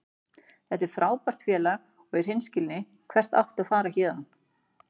Þetta er frábært félag og í hreinskilni, hvert áttu að fara héðan?